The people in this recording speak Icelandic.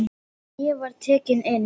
Ég var tekinn inn.